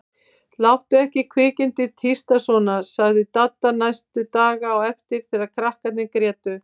Láttu ekki kvikindið tísta svona sagði Dadda næstu daga á eftir þegar krakkarnir grétu.